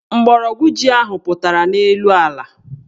Mgbọrọgwụ ji ahụ pụtara n' elu ala.